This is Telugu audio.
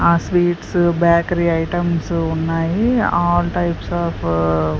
ఆ స్వీట్స్ బేకరీ ఐటమ్స్ ఉన్నాయి ఆల్ టైప్స్ ఆఫ్ .